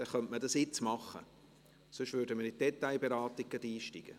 – Dann könnte man dies jetzt machen, sonst würden wir gleich in die Detailberatung einsteigen.